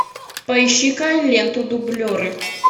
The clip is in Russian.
поищи ка ленту дублеры